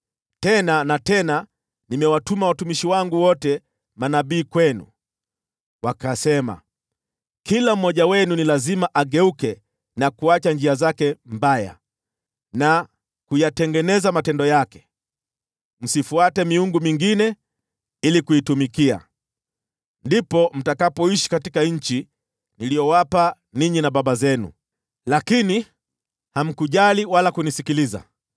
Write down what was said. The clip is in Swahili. Tena na tena nimewatuma watumishi wangu wote manabii kwenu. Wakasema, “Kila mmoja wenu ni lazima ageuke na kuacha njia zake mbaya, na kuyatengeneza matendo yake. Msifuate miungu mingine ili kuitumikia. Ndipo mtakapoishi katika nchi niliyowapa ninyi na baba zenu.” Lakini hamkujali wala kunisikiliza.